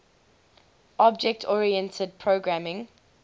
object oriented programming